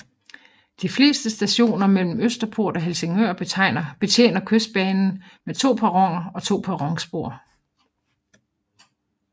De fleste stationer mellem Østerport og Helsingør betjener Kystbanen med to perroner og to perronspor